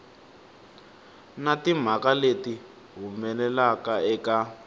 na timhaka leti humelelaka eka